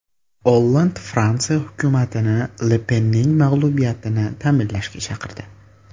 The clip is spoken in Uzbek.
Olland Fransiya hukumatini Le Penning mag‘lubiyatini ta’minlashga chaqirdi.